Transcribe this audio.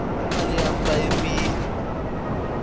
imali yami bayebile